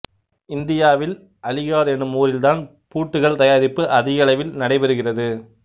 இந்தியாவில் அலிகார் எனும் ஊரில்தான் பூட்டுக்கள் தயாரிப்பு அதிக அளவில் நடைபெறுகிறது